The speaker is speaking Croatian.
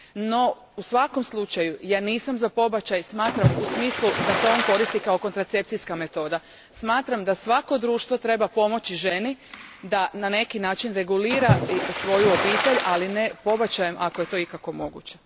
No u svakom slučaju ja nisam za pobačaj u smislu da se on koristi kao kontracepcijska metoda, smatram da svako društvo treba pomoći ženi da na neki način regulira svoju obitelj, ali ne pobačajem ako je to ikako moguće.